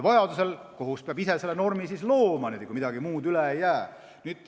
Vajaduse korral peab kohus ise selle normi looma, kui midagi muud üle ei jää.